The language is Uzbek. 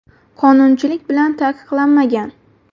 Qonunchilik bilan taqiqlanmagan.